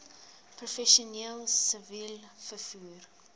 professioneel siviel vervoer